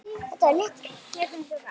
hrópar hún.